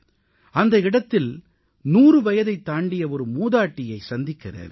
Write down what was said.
அந்த இடத்தில் 100 வயதைத் தாண்டிய ஒரு மூதாட்டியை சந்திக்க நேர்ந்தது